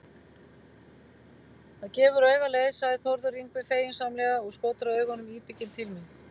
Það gefur auga leið, sagði Þórður Yngvi feginsamlega og skotraði augunum íbygginn til mín.